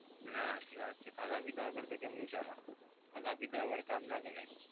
ના સાચી વાત છે. ખાધા પીધા વગર તો કેમનું ચાલે? ખાધા પીધા વગર કામ ના કરાય.